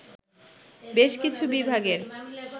বেশ কিছু বিভাগের